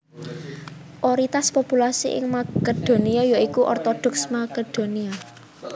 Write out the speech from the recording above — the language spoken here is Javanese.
Oritas populasi ing Makedonia ya iku Ortodoks Makedonia